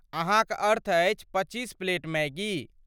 अहाँक अर्थ अछि पच्चीस प्लेट मैगी?